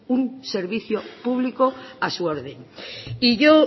un servicio público a su orden y yo